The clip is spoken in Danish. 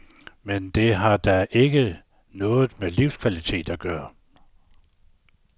Men det har da ikke noget med livskvalitet at gøre.